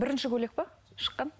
бірінші көйлек пе шыққан